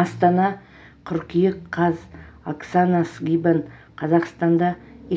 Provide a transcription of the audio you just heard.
астана қыркүйек қаз оксана скибан қазақстанда